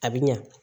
A bi ɲa